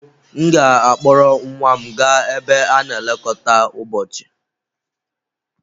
M ga-akpọrọ nwa m gaa ebe a na-elekọta ụbọchị.